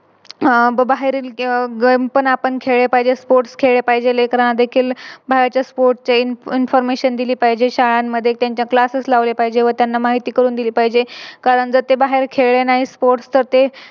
आह बाहेरील Game पण आपण खेळले पाहिजे Sports खेळले पाहिजे. लेकरांना देखील बाहेरचे Sports ची Information दिली पाहिजे. शाळांमध्ये Classes लावले पाहिजे व त्यांना माहिती करून दिली पाहिजे कारण जर ते बाहेर खेळले नाही Sports तर ते